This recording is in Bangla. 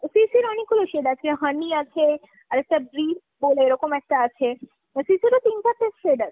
CCর অনেকগুলো shade আছে honey আছে আর একটা breeze বলে এরকম একটা আছে। CCর ও তিন চারটে shade আছে।